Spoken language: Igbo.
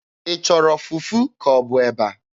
Ị chọrọ fufu ka ọ bụ eba?